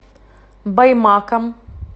баймаком